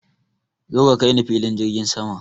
Zo ka kaini filin jirgin sama!